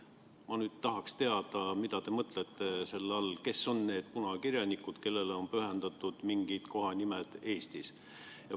Ma tahaks teada, mida te selle all mõtlete, kes on need punakirjanikud, kellele on pühendatud mingid kohanimed Eestis.